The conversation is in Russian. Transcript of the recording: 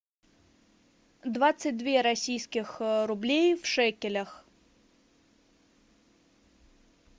двадцать две российских рублей в шекелях